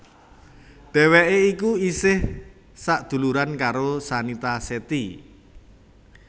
Dheweké iku esih sadhuluran karo Shanita Shetty